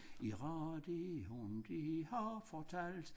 I radioen de har fortalt